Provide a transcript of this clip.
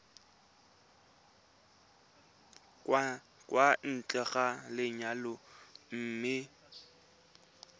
kwa ntle ga lenyalo mme